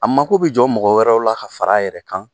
A mako bɛ jɔ mɔgɔ wɛrɛw la ka far'a yɛrɛ kan.